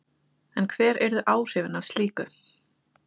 En hver yrðu áhrifin af slíku?